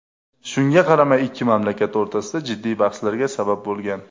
Shunga qaramay ikki mamlakat o‘rtasida jiddiy bahslarga sabab bo‘lgan.